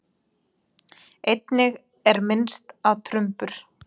Einnig er minnst á trumbur.